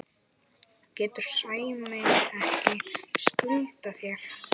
getur Sæmi ekki skutlað þér?